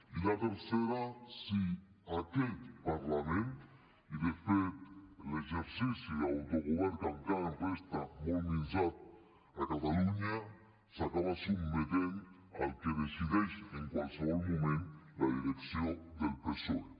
i la tercera si aquest parlament i de fet l’exercici d’autogovern que encara ens resta molt minsat a catalunya s’acaba sotmetent al que decideix en qualsevol moment la direcció del psoe